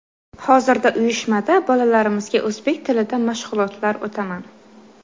Hozirda uyushmada bolalarimizga o‘zbek tilida mashg‘ulotlar o‘taman.